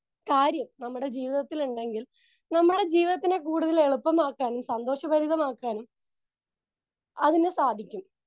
Speaker 2 കാര്യം നമ്മുടെ ജീവിതത്തിലുണ്ടെങ്കിൽ നമ്മുടെ ജീവിതത്തിനെ കൂടുതൽ എളുപ്പമാക്കാനും സന്തോഷഭരിതമാക്കാനും അതിനു സാധിക്കും.